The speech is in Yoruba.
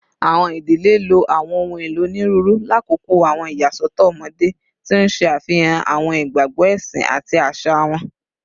Awọn idile lo awọn ohun elo oniruuru lakoko awọn iyasọtọ ọmọde, ti n ṣe afihan awọn igbagbọ ẹsin ati aṣa wọn